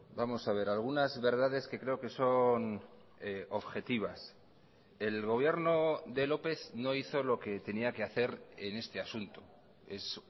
vamos a ver algunas verdades que creo que son objetivas el gobierno de lópez no hizo lo que tenía que hacer en este asunto es